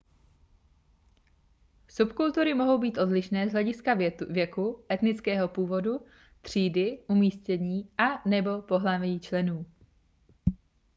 subkultury mohou být odlišné z hlediska věku etnického původu třídy umístění a/nebo pohlaví členů